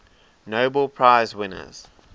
nobel prize winners